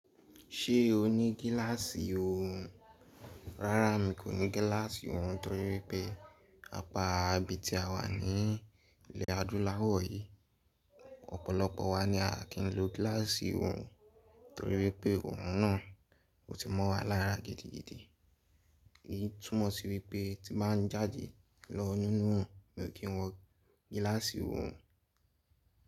Ṣé o ní gíláàsì orùn? Rárá mi kò ní gíláàsì orùn torí pé apá ibi tí a wà ní ilẹ̀ adúláwọ̀ yìí, ọ̀pọ̀lọpọ̀ wa ni a kì ń lo gíláàsì orùn torí pé orùn náà ò tí ì mọ́ wa lára gidigidi. Eyí túnmọ̀ sí wípé tí màá ń jáde lọ nínú òrùn mi ò kí ń wọ gíláàsì orùn.